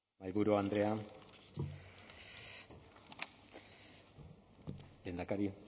mahaiburu andrea lehendakari